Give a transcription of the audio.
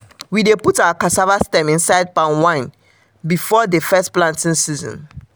we dey put our cassava stem inside palm wine before the first planting season.